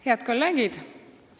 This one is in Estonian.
Head kolleegid!